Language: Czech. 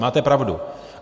Máte pravdu.